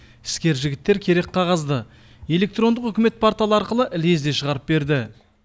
іскер жігіттер керек қағазды электрондық үкімет порталы арқылы лезде шығарып берді